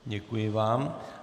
Děkuji vám.